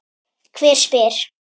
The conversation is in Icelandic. Hver spyr?